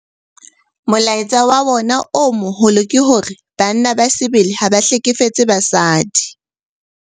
Molaetsa wa yona o moholo ke hore 'Banna ba sebele ha ba hlekefetse basadi'.